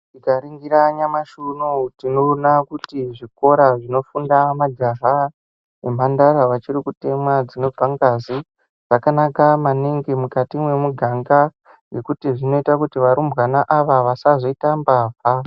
Tinganingira nyamushi unou tinoona kuti zvikora zvinofunda majaha nemhandara vachiri kutemwa dzinobva ngazi zvakanaka maningi mukati mwemuganga ngekuti zvinoite kuti varumbwana ava vasazoita mbavha.